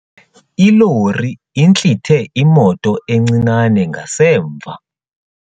Ilori intlithe imoto encinane ngasemva.